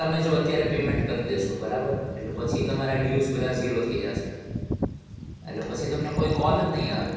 તમે જો અત્યારે payment ભરી દેશો બરાબર? એટલે પછી તમારા dues બધા zero થઇ જાશે. એટલે પછી તમને કોઈ call જ નઈ આવે.